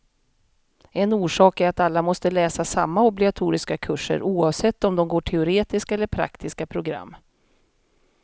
En orsak är att alla måste läsa samma obligatoriska kurser, oavsett om de går teoretiska eller praktiska program.